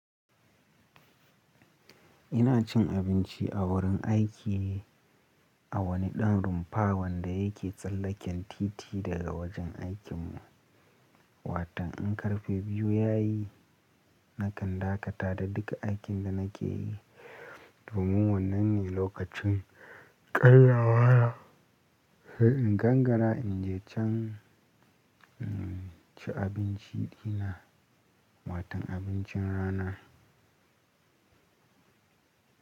Ina cin abinci a wurin aiki, a wani ɗan rumfa wanda yake tsallaken titi daga wajen aikin mu. Waton in karfe biyu ya yi, nakan dakata da duka aikin da nake yi domin wannan ne lokacin ƙaryawa. Sai in gangara in je can ci abinci dina, watan abincin rana.